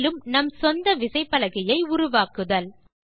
மேலும் நம் சொந்த விசைப்பலகையை உருவாக்குதல்